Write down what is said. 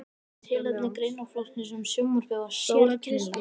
Tilefni greinaflokksins um sjónvarpið var sérkennilegt.